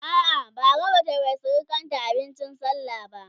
a'a Bara Bata Yi wa surukanta abincin sallah ba